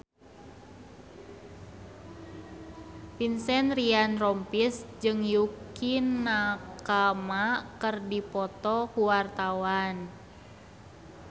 Vincent Ryan Rompies jeung Yukie Nakama keur dipoto ku wartawan